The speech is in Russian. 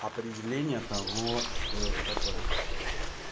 определение того что это такое